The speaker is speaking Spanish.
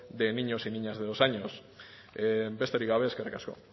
de niños y niñas de dos años besterik gabe eskerrik asko